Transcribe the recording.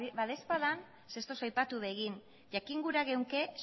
badaezpada zeren eta ez duzu aipatu ere egin jakin gura genuke